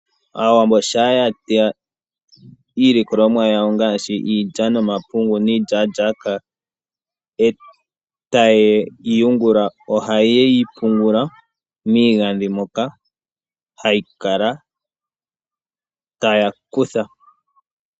Aawambo shaa ya teya iilikolomwa yawo ngaashi iidja noma pungu nii djaadjaaka eta ye yi yungula, oha ye yi pungula mii gandhi moka hayi kala, taya kutha.